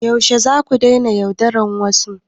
Yaushe zaku daina yaudarar wasu?